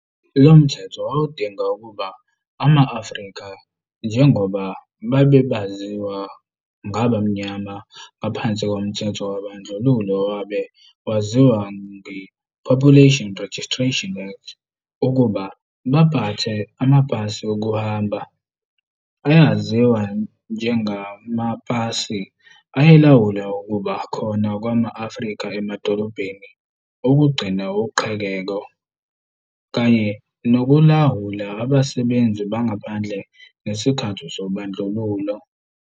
Lomthetho wawudinga ukuba ama-Afrika njengoba babe baziwa "ngabamnyama" ngaphansi komthetho wobadlululo owabe waziwa nge-"Population Registration Act" ukuba bapathe amapasi okuhamba, ayaiziwa njengama pasi ayelawula ukuba khona kwama-Afrika emadolobheni, ukugcina uqhekeko, kanye nokulawula abasenzi bangaphandle ngesikhathi sobandlululo.